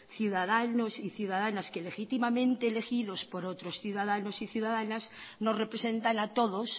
ciudadanos y ciudadanas que legítimamente elegidos por otros ciudadanos y ciudadanas nos representan a todos